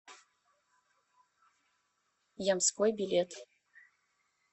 ямской билет